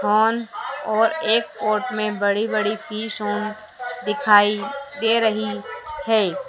On और एक court में बड़ी बड़ी दिखाई दे रही है।